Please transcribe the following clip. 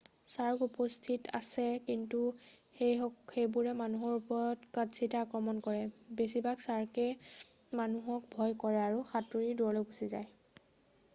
"চাৰ্ক উপস্থিত আছে কিন্তু সেইবোৰে মানুহৰ ওপৰত কদাচিৎহে আক্ৰমণ কৰে । বেছিভাগ চাৰ্কএ মানুহক ভয় কৰে আৰু সাতুৰী দূৰলৈ গুচি যায় ।""